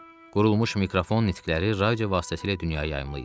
Quraşdırılmış mikrofon nitqləri radio vasitəsilə dünyaya yayımlayırdı.